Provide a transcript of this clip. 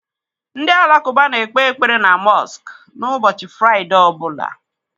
Ndị alakụba na-ekpe ekpere na mọsk n'ụbọchị Fraịdee ọbụla.